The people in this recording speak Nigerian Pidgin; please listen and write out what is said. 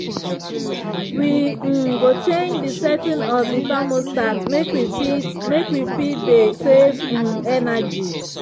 we um go change di setting of di thermostat make we fit make we fit dey save um energy.